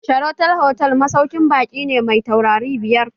Sheraton Hotel masaukin baƙi ne mai tauraro biyar